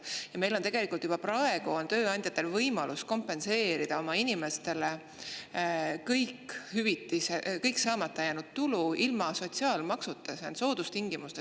Tegelikult on tööandjatel juba praegu võimalus kompenseerida oma inimestele kogu saamata jäänud tulu ilma sotsiaalmaksuta, soodustingimustel.